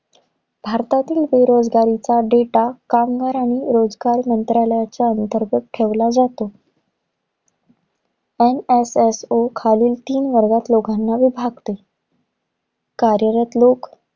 भारतातील बेरोजगारीचा data कामगार आणि रोजगार मंत्रालयाच्या अंतर्गत ठेवला जातो. NSSO खालील तीन वर्गात लोकांना विभागाते. कार्यरत लोक,